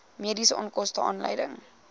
mediese onkoste aanleiding